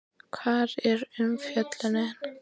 Hvar er umfjöllunin?